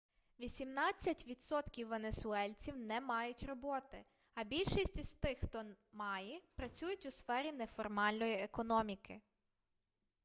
вісімнадцять відсотків венесуельців не мають роботи а більшість із тих хто має працюють у сфері неформальної економіки